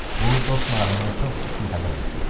Bu dost marağından çox istintaqa bənzəyirdi.